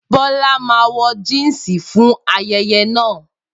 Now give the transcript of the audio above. Bola má wọ̀ Jínsì fún ayẹyẹ na